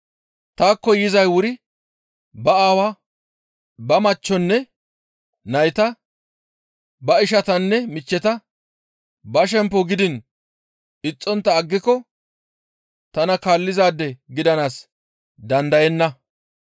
«Taakko yizay wuri ba aawaa, ba machchonne nayta, ba ishatanne michcheta, ba shemppo gidiin ixxontta aggiko tana kaallizaade gidanaas dandayenna.